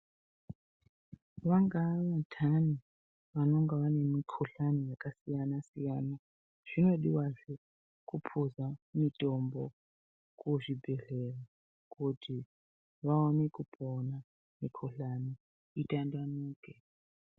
Vangaa vantani vanonga vane mikhuhlani yakasiyana siyana. Zvinodiwazve kupuza mitombo kuzvibhedhlera kuti vaone kupona mikhuhlani itandanuke.